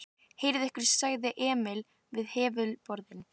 Herðið ykkur sagði Emil við hefluðu borðin.